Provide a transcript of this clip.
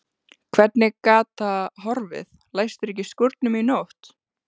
Hvernig gat það horfið, læstirðu ekki skúrnum í nótt?